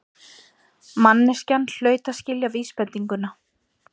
Manneskjan hlaut að skilja vísbendinguna.